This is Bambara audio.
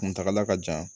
Kuntagala ka jan